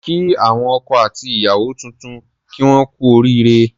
Kí àwọn ọkọ àti ìyàwó tuntun kí wón kú oríre